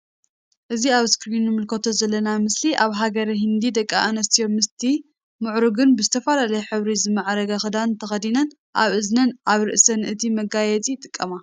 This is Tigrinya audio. እዚ ኣብ እስክሪን እንምልከቶ ዘልና ምስሊ ኣብ ሃገረ ሂንዲ ደቂ ኣንስትዮ ምስ እቲ ሙዕርጉን ብ ዝተፈላለዩ ሕብሪ ዝማዕረገ ክዳን ተከዲነን ኣብ እዝነን ኣብ ርእሰንን እዚ መጋየጺ ይጥቀማ ።